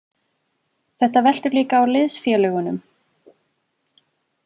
Þetta veltur líka á liðsfélögunum.